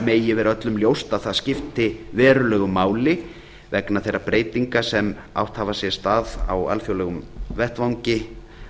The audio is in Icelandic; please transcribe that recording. megi vera öllum ljóst að það skipti verulegu máli vegna þeirra breytinga sem átt hafa sér stað á alþjóðlegum vettvangi